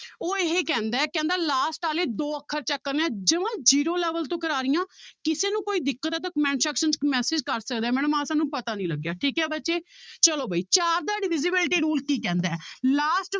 ਉਹ ਇਹ ਕਹਿੰਦਾ ਹੈ ਕਹਿੰਦਾ last ਵਾਲੇ ਦੋ ਅੱਖਰ ਚੁੱਕਣੇ ਜਮਾਂ zero level ਤੋਂ ਕਰਵਾ ਰਹੀ ਹਾਂ ਕਿਸੇ ਨੂੰ ਕੋਈ ਦਿੱਕਤ ਹੈ ਤਾਂ comment section 'ਚ ਇੱਕ message ਕਰ ਸਕਦਾ ਹੈ madam ਆਹ ਸਾਨੂੰ ਪਤਾ ਨੀ ਲੱਗਿਆ ਠੀਕ ਹੈ ਬੱਚੇ ਚਲੋ ਵੀ ਚਾਰ ਦਾ divisibility rule ਕੀ ਕਹਿੰਦਾ ਹੈ last